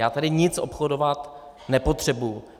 Já tady nic obchodovat nepotřebuji.